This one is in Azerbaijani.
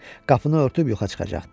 Qapını örtüb yuxa çıxacaqdı.